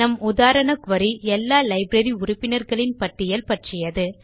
நம் உதாரண குரி எல்லா லைப்ரரி உறுப்பினர்களின் பட்டியல் பற்றியது